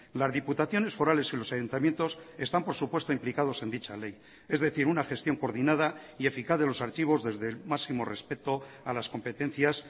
las diputaciones forales y los ayuntamientos están por supuesto implicados en dicha ley es decir una gestión coordinada y eficaz de los archivos desde el máximo respeto a las competencias